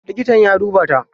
Likitan ya duba ta?